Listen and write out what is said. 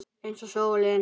Eins og sólin.